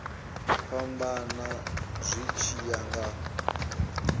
fhambana zwi tshi ya nga